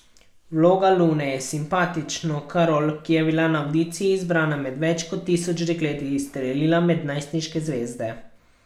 Vloga Lune je simpatično Karol, ki je bila na avdiciji izbrana med več tisoč dekleti, izstrelila med najstniške zvezde.